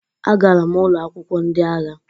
Agara m ụlọ akwụkwọ ndị agha